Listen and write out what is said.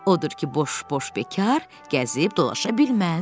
Odur ki, boş-boş bekar gəzib dolaşa bilməz.